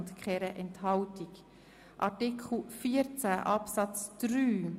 Wir kommen nun zu Artikel 14 Absatz 3.